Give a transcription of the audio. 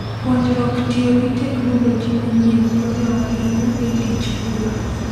Puonjruok tiyo gi teknoloji manyien konyo ahinya e tij pur.